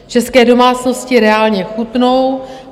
České domácnosti reálně chudnou.